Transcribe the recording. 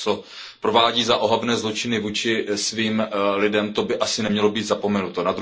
To, co provádí za ohavné zločiny vůči svým lidem, by asi nemělo být zapomenuto.